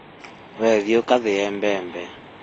We thiĩ ugathĩĩe mbembe